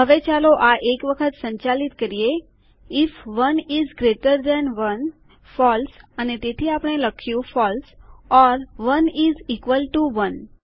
હવે ચાલો આ એક વખત સંચાલિત કરીએ if 1 is greater than 1 false અને તેથી આપણે લખ્યું false or 1 is equal to 1